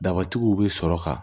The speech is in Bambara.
Dabatigiw bɛ sɔrɔ ka